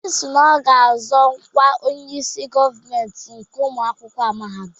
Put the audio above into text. Obi si na ọ ga-azọ ọkwa Onyeisi gọọmentị nke ụmụ akwụkwọ mahadum.